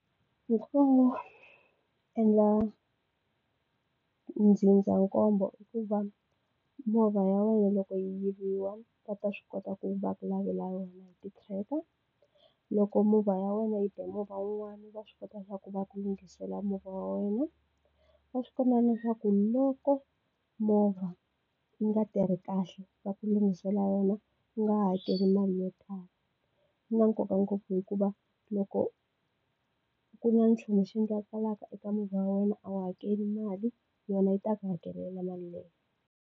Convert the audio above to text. Endla ndzindzakhombo i ku va movha ya wena loko yi yiviwa va ta swi kota ku va ku lavela yona hi ti-tracker. Loko movha ya wena yi be movha wun'wana va swi kota swa ku va ku lunghisela movha wa wena. Va swi kota na leswaku loko movha yi nga tirhi kahle va ku lunghisela yona u nga hakeli mali yo tala. Swi na nkoka ngopfu hikuva loko ku na nchumu xi endlekaka eka movha wa wena a wu hakeli mali, yona yi ta ku hakelela mali yeleyo.